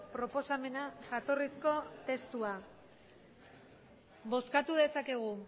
proposamena jatorrizko testua bozkatu dezakegu